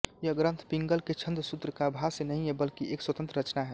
यह ग्रन्थ पिंगल के छन्दसूत्र का भाष्य नहीं है बल्कि एक स्वतन्त्र रचना है